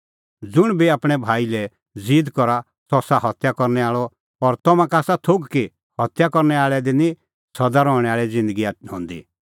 ज़ुंण बी आपणैं भाई लै ज़ीद करा सह आसा हत्या करनै आल़अ और तम्हां का आसा थोघ कि हत्या करनै आल़ै दी निं सदा रहणैं आल़ी ज़िन्दगी हंदी